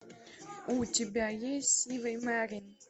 у тебя есть сивый мерин